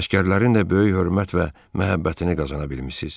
Əsgərlərin də böyük hörmət və məhəbbətini qazana bilmisiz.